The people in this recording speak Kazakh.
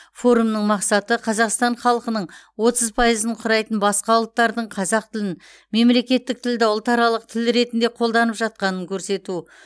форумның мақсаты қазақстан халқының отыз пайызын құрайтын басқа ұлттардың қазақ тілін мемлекеттік тілді ұлтаралық тіл ретінде қолданып жатқанын көрсету